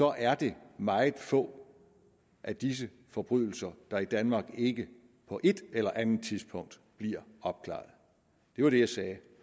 er det meget få af disse forbrydelser der i danmark ikke på et eller andet tidspunkt bliver opklaret det var det jeg sagde